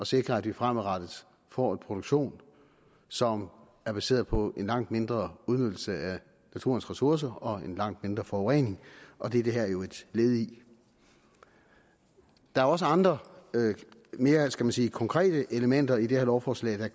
sikre at vi fremadrettet får en produktion som er baseret på en langt mindre udnyttelse af naturens ressourcer og en langt mindre forurening og det er det her jo et led i der er også andre mere skal man sige konkrete elementer i det her lovforslag der